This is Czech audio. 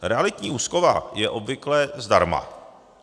Realitní úschova je obvykle zdarma.